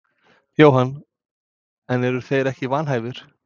Jóhann: En eru þeir ekki vanhæfir?